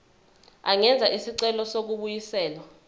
angenza isicelo sokubuyiselwa